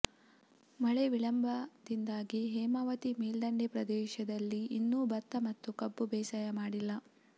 ಮಳೆ ವಿಳಂಬದಿಂದಾಗಿ ಹೇಮಾವತಿ ಮೇಲ್ದಂಡೆ ಪ್ರದೇಶದಲ್ಲಿ ಇನ್ನೂ ಭತ್ತ ಮತ್ತು ಕಬ್ಬು ಬೇಸಾಯ ಮಾಡಿಲ್ಲ